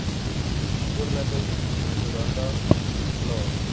voorleggings memoranda verslae